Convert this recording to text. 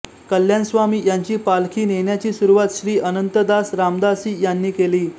कल्याण स्वामी यांची पालखी नेण्याची सुरूवात श्री अनंतदास रामदासी यांनी केली